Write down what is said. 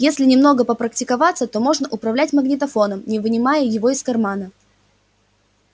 если немного попрактиковаться то можно управлять магнитофоном не вынимая его из кармана